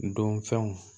Don fɛnw